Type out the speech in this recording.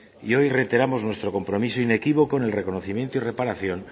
y hoy reiteramos nuestro compromiso inequívoco en el reconocimiento y reparación